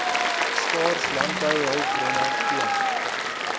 skaars landbouhulpbronne teen